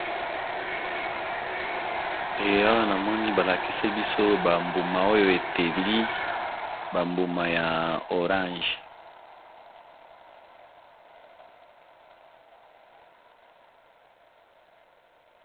Ee awa namoni ba lakisi biso ba mbuma oyo eteli ba mbuma ya orange.